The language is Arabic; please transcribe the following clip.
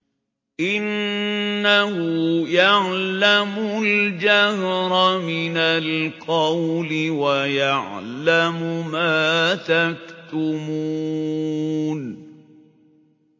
إِنَّهُ يَعْلَمُ الْجَهْرَ مِنَ الْقَوْلِ وَيَعْلَمُ مَا تَكْتُمُونَ